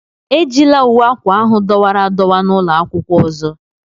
Ejila uwe akwa ahụ dọwara adọwa n'ụlọ akwụkwọ ọzọ!